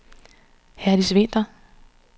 Herdis Vinther